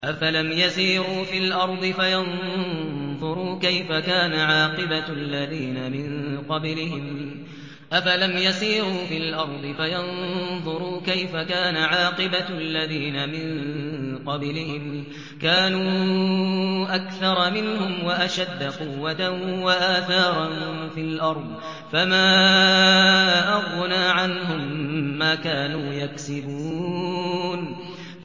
أَفَلَمْ يَسِيرُوا فِي الْأَرْضِ فَيَنظُرُوا كَيْفَ كَانَ عَاقِبَةُ الَّذِينَ مِن قَبْلِهِمْ ۚ كَانُوا أَكْثَرَ مِنْهُمْ وَأَشَدَّ قُوَّةً وَآثَارًا فِي الْأَرْضِ فَمَا أَغْنَىٰ عَنْهُم مَّا كَانُوا يَكْسِبُونَ